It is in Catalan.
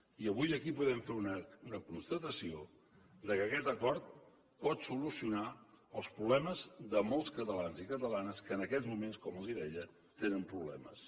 i avui aquí podem fer una constatació que aquest acord pot solucionar els problemes de molts catalans i catalanes que en aquests moments com els deia tenen problemes